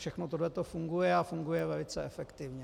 Všechno tohle funguje a funguje velice efektivně.